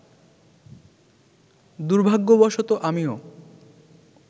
দুর্ভাগ্যবশত আমিও